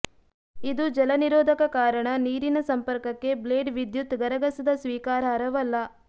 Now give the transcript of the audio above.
ಇದು ಜಲನಿರೋಧಕ ಕಾರಣ ನೀರಿನ ಸಂಪರ್ಕಕ್ಕೆ ಬ್ಲೇಡ್ ವಿದ್ಯುತ್ ಗರಗಸದ ಸ್ವೀಕಾರಾರ್ಹವಲ್ಲ